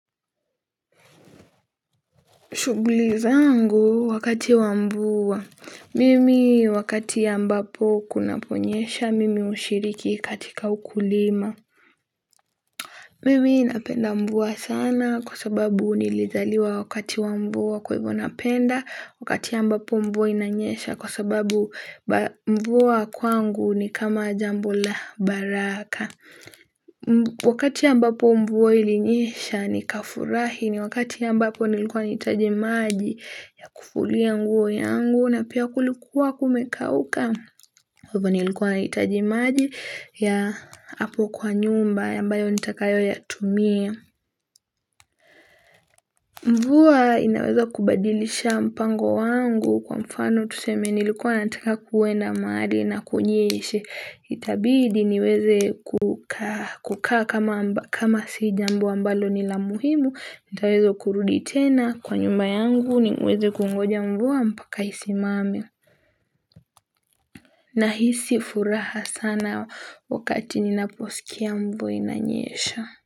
Shughuli zangu wakati wa mvua. Mimi wakati ambapo kunapo nyesha, mimi hushiriki katika ukulima. Mimi napenda mvua sana kwa sababu nilizaliwa wakati wa mvua kwa hivyo napenda, wakati ambapo mvua inanyesha kwa sababu mvua kwangu ni kama jambo la baraka. Wakati ambapo mvua ilinyesha nika furahi ni wakati ambapo nilikuwa nitaje maji ya kufulia nguo yangu na pia kulikuwa kumekauka. Kwa hivyo nilikuwa nahitaji maji ya hapo kwa nyumba ambayo nitakayo ya tumia. Mvua inaweza kubadilisha mpango wangu kwa mfano tuseme nilikuwa nataka kuenda mahali na kunyeshe. Itabidi niweze kukaa kama sijambo ambalo ni la muhimu. Nitaweza kurudi tena kwa nyumba yangu niweze kungoja mvua mpaka isimame. Nahisi furaha sana wakati ninaposikia mvua inanyesha.